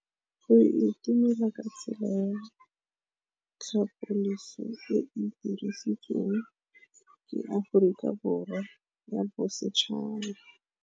Go itumela ke tsela ya tlhapolisô e e dirisitsweng ke Aforika Borwa ya Bosetšhaba.